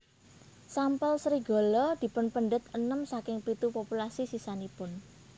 Sampel serigala dipunpendet enem saking pitu populasi sisanipun